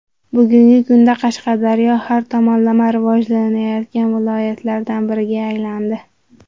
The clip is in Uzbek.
Bugungi kunda Qashqadaryo har tomonlama rivojlangan viloyatlardan biriga aylandi.